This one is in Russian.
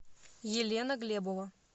елена глебова